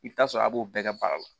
I bɛ taa sɔrɔ a b'o bɛɛ baara la